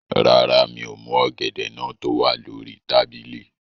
Rárá, mi ò mú ọ̀gẹ̀dẹ̀ náà tó wà lórí tábìlì